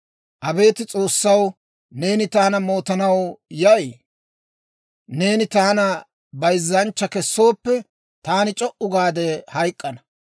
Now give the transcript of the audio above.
«Abeet S'oossaw, neeni taana mootanaw yay? Neeni taana bayzzanchcha kessooppe, taani c'o"u gaade hayk'k'ana.